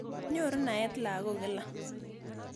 Nyoru naet lagok kila.